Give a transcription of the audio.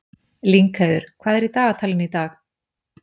Lyngheiður, hvað er í dagatalinu í dag?